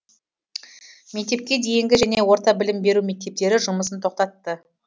мектепке дейінгі және орта білім беру мектептері жұмысын тоқтатты